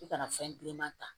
I kana fɛn bilenman ta